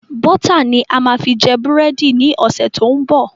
Bọ́tà ni a máa fi jẹ búrẹ́dì ni ọ̀sẹ̀ tó ń bọ̀